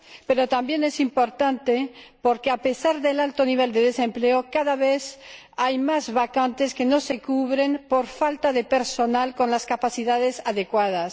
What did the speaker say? Pero también es importante señalar que, a pesar del alto nivel de desempleo, cada vez hay más vacantes que no se cubren por falta de personal con las capacidades adecuadas.